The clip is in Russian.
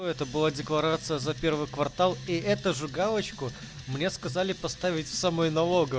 это была декларация за первый квартал и эту же галочку мне сказали поставить в самой налоговой